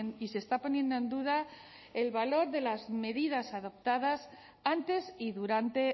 y se está poniendo en duda el valor de las medidas adoptadas antes y durante